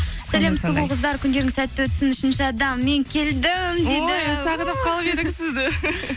сұлу қыздар күндеріңіз сәтті өтсін үшінші адам мен келдім дейді ой сағынып қалып едік сізді